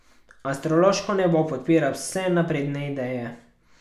Astrološko nebo podpira vse napredne ideje.